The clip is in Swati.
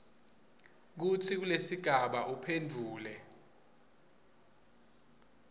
kutsi kulesigaba uphendvule